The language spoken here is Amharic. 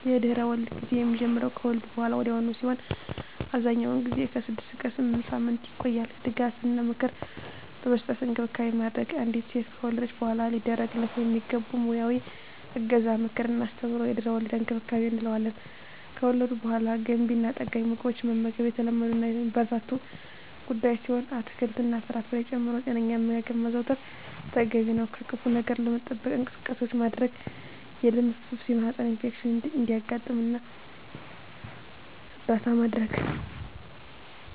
የድህረ-ወሊድ ጊዜ የሚጀምረው ከወሊድ በሃላ ወዲያውኑ ሲሆን አብዛኛውን ጊዜ ከ6 እስከ 8 ሳምንታት ይቆያል ድጋፍ እና ምክር በመስጠት እንክብካቤ ማድረግ። አንዲት ሴት ከወለደች በሃላ ሊደረግላት የሚገቡ ሙያዊ እገዛ ምክር እና አስተምሮ የድህረ-ወሊድ እንክብካቤ እንለዋለን። ከወሊድ በሃላ ገንቢ እና ጠጋኝ ምግቦችን መመገብ የተለመዱ እና የሚበረታቱ ጉዳይ ሲሆን አትክልት እና ፍራፍሬ ጨምሮ ጤነኛ አመጋገብ ማዘውተር ተገቢ ነው። ከክፋ ነገር ለመጠበቅ እንቅስቃሴዎች ማድረግ የደም መፍሰስ የማህፀን ኢንፌክሽን እንዳያጋጥም እርዳታ ማድረግ።